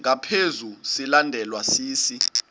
ngaphezu silandelwa sisi